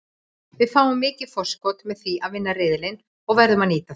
Við fáum mikið forskot með því að vinna riðilinn og verðum að nýta það.